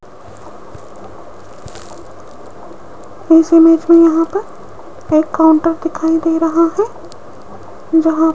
इस इमेज में यहां पर एक काउंटर दिखाई दे रहा है यहाँ --